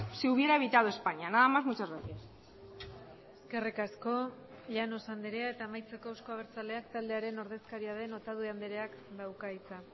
se hubiera evitado españa nada más muchas gracias eskerrik asko llanos andrea eta amaitzeko euzko abertzaleak taldearen ordezkaria den otadui andreak dauka hitza